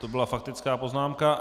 To byla faktická poznámka.